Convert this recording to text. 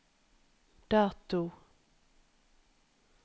dato